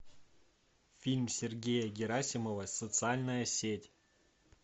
фильм сергея герасимова социальная сеть